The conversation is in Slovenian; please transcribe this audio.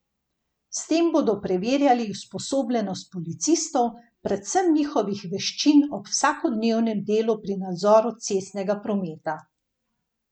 S tem bodo preverjali usposobljenost policistov, predvsem njihovih veščin ob vsakodnevnem delu pri nadzoru cestnega prometa.